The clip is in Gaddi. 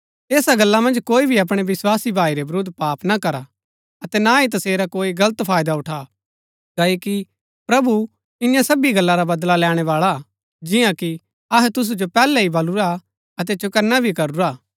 ऐसा गल्ला मन्ज कोई भी अपणै विस्वासी भाई रै विरूद्ध पाप ना करा अतै ना ही तसेरा कोई गलत फायदा उठा क्ओकि प्रभु ईयां सबी गल्ला रा बदला लैणैं बाळा हा जिआं कि अहै तुसु जो पैहलै ही बलुरा हा अतै चौकन्‍ना भी करूरा हा